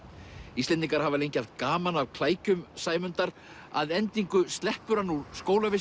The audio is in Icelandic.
Íslendingar hafa lengi haft gaman af klækjum Sæmundar að endingu sleppur hann úr